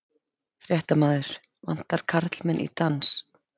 Fréttamaður: Vantar karlmenn í dans?